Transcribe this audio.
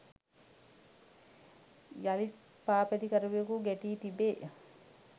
යළිත් පාපැදිකරුවෙකු ගැටී තිබේ.